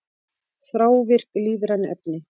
Þrávirk lífræn efni